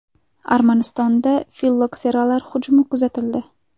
Armanistonda fillokseralar hujumi kuzatildi.